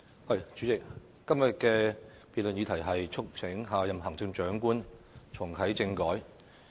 代理主席，今天的辯論題目是"促請下任行政長官重啟政改"。